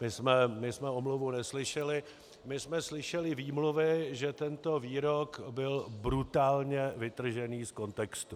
My jsme omluvu neslyšeli, my jsme slyšeli výmluvy, že tento výrok byl brutálně vytržený z kontextu.